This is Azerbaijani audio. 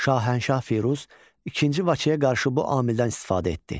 Şahənşah Firuz ikinci Vaçeyə qarşı bu amildən istifadə etdi.